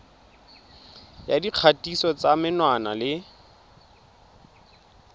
ya dikgatiso tsa menwana le